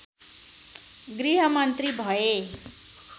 गृहमन्त्री भए